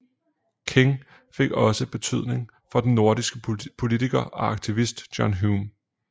King fik også betydning for den nordirske politiker og aktivist John Hume